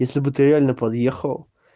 если бы ты реально подъехал